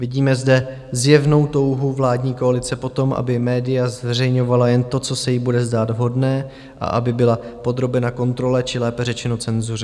Vidíme zde zjevnou touhu vládní koalice po tom, aby média zveřejňovala jen to, co se jí bude zdát vhodné, a aby byla podrobena kontrole, či lépe řečeno cenzuře.